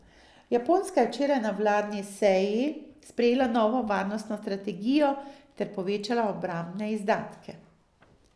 Japonska je včeraj na vladni seji sprejela novo varnostno strategijo ter povečala obrambne izdatke.